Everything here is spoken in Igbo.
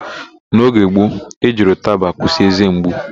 N'oge gbo, e jiri ụtaba akwụsị ézé mgbu.